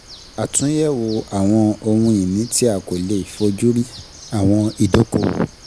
Àtúnyẹ̀wò àwọn ohun ìní tí a kò lè fó ojú rí, àwọn ìdókòwò.